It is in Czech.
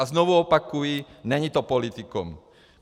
A znovu opakuji, není to politikum.